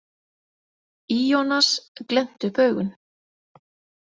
Ionas glennti upp augun.